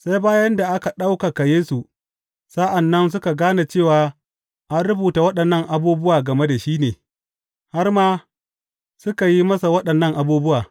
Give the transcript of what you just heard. Sai bayan da aka ɗaukaka Yesu, sa’an nan suka gane cewa an rubuta waɗannan abubuwa game da shi ne, har ma suka yi masa waɗannan abubuwa.